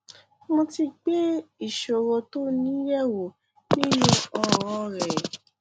mo ti gbé ìṣòro tó o ní yẹ wò nínú ọràn rẹ